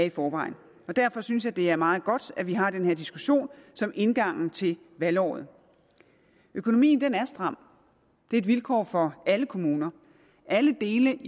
i forvejen derfor synes jeg at det er meget godt at vi har den her diskussion som indgang til valgåret økonomien er stram det er et vilkår for alle kommuner alle dele